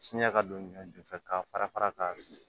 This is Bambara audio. Fiɲɛ ka don ɲɔju fɛ ka fara fara ka